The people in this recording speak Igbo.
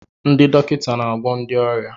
Ndị dọkịta na-agwọ ndị ọrịa.